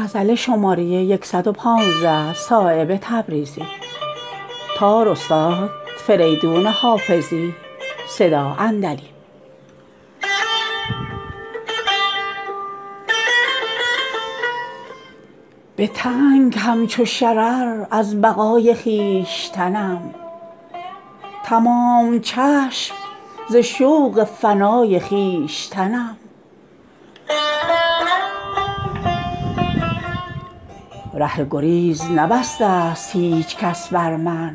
به تنگ همچو شرر از بقای خویشتنم تمام چشم ز شوق فنای خویشتنم ره گریز نبسته است هیچ کس بر من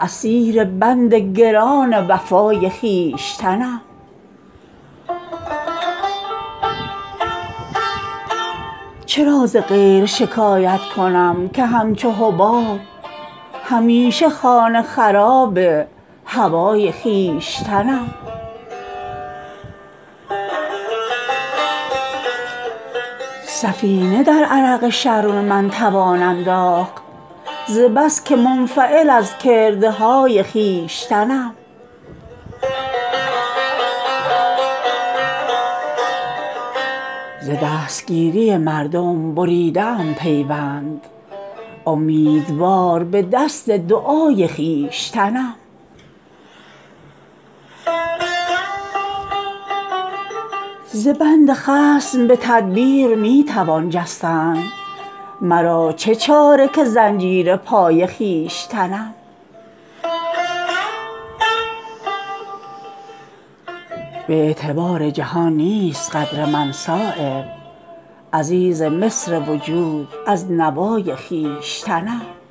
اسیر بند گران وفای خویشتنم به بی نیازی من ناز می کند همت توانگر از دل بی مدعای خویشتنم ز دستگیری مردم بریده ام پیوند امیدوار به دست دعای خویشتنم به پاره دل خود می کنم چو غنچه مدار رهین منت برگ و نوای خویشتنم چرا ز غیر شکایت کنم که همچو حباب همیشه خانه خراب هوای خویشتنم سفینه در عرق شرم من توان انداخت ز بس که منفعل از کرده های خویشتنم ز بند خصم به تدبیر می توان جستن مرا چه چاره که زنجیر پای خویشتنم گرفت تاج زر از آفتاب شبنم و من همان ز پستی طالع به جای خویشتنم به جای خویش نبودم چو جابجا بودم کنون که در همه جایم به جای خویشتنم به اعتبار جهان نیست قدر من صایب عزیز مصر وجود از نوای خویشتنم